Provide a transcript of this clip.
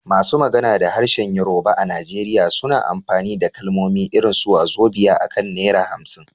Masu magana da harshen Yorùbá a Najeriya suna amfani da kalmomi irin su "wàzobíà" akan naira 50